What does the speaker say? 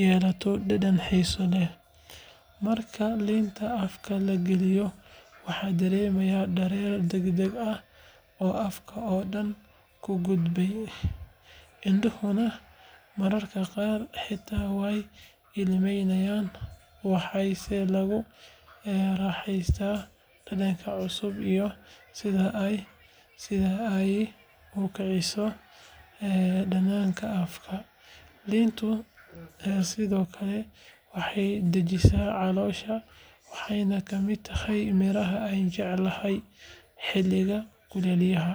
yeelato dhadhan xiiso leh. Marka liinta afka la geliyo, waxaa dareemeysaa dareen degdeg ah oo afka oo dhan u gudbaya, indhuhuna mararka qaar xitaa way ilmeynayaan. Waxaase lagu raaxaystaa dhadhanka cusub iyo sida ay u kiciso dhadhanka afka. Liintu sidoo kale waxay dejisaa caloosha, waxayna ka mid tahay miraha aan jecelahay xilliyada kulaylaha..